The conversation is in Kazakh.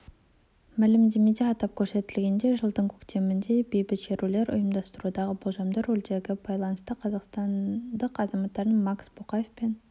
мәлімдемеде атап көрсетілгендей жылдың көктемінде бейбіт шерулер ұйымдастырудағы болжамды рөлдеріне байланысты қазақстандық азаматтар макс бокаев пен